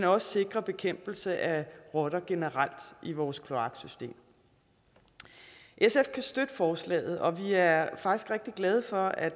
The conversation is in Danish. også sikrer bekæmpelse af rotter generelt i vores kloaksystem sf kan støtte forslaget og vi er faktisk rigtig glade for at